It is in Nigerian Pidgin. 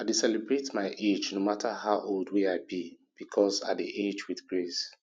i dey celebrate my age no mata how old wey i be because i dey age wit grace